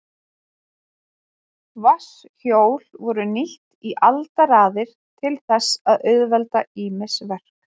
Vatnshjól voru nýtt í aldaraðir til þess að auðvelda ýmis verk.